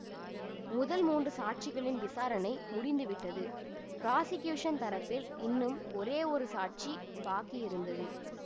முதல் மூன்று சாட்சிகளின் விசாரணை முடிந்து விட்டது பிராஸிகியூஷன் தரப்பில் இன்னும் ஒரே ஒரு சாட்சி பாக்கி இருந்தது